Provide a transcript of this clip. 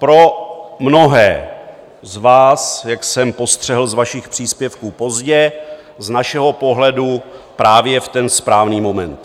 Pro mnohé z vás, jak jsem postřehl z vašich příspěvků, pozdě, z našeho pohledu právě v ten správný moment.